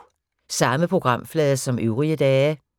Samme programflade som øvrige dage